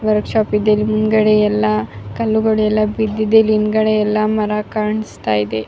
Work shop ಇದೆ ಹಿಂದ್ಗಡೆ ಎಲ್ಲ ಕಲ್ಲ್ಗಳು ಎಲ್ಲ ಬಿದ್ದಿದೆ ಹಿಂದ್ಗಡೆ ಎಲ್ಲ ಮರ ಕಾಣಿಸ್ತಾ ಇದೆ.